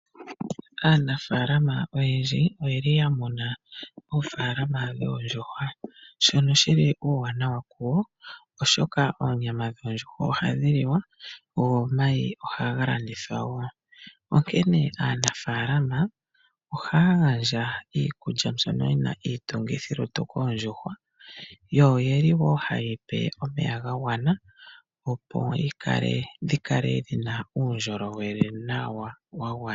Aanimuna oyendji ohaya tekula oondjuhwa, shono hashi gandja uuwanawa wonyama osho wo omayi. Ohaya vulu okumona mo iimaliwa ngele oya landitha onyama nenge omayi. Onkene oondjuhwa ohadhi tekulwa niikulya mbyoka yina iitungithilutu osho wo omeya ga gwana opo dhi paluke nawa.